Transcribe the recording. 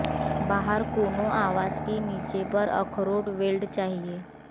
बाहर कोनों आवास के नीचे पर अखरोट वेल्ड चाहिए